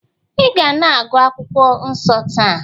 ị ga na-agụ akwụkwọ nsọ taa?